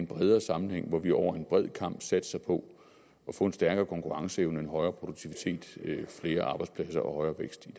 bredere sammenhæng hvor vi over en bred kam satser på at få en stærkere konkurrenceevne en højere produktivitet flere arbejdspladser og højere vækst i